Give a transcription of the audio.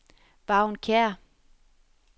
Vagn Kjær